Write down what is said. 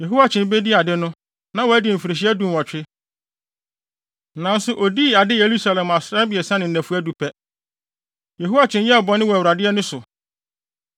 Yehoiakyin bedii ade no, na wadi mfirihyia dunwɔtwe, nanso odii ade Yerusalem asram abiɛsa ne nnafua du pɛ. Yehoiakyin yɛɛ bɔne wɔ Awurade ani so.